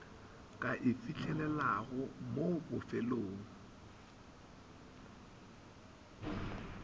ka e fihlelelago mo bofelong